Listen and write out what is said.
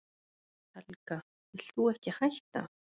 Helga: Vilt þú ekki hætta?